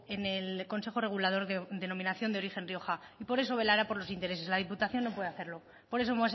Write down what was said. en el consejo regulador denominación de origen rioja y por eso velará por los intereses la diputación no puede hacerlo por eso